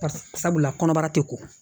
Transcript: Sabula kɔnɔbara tɛ ko